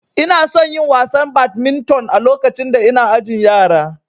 Inason yin wasan badminton a lokacin da ina ajin yara